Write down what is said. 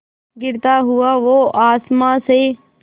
गिरता हुआ वो आसमां से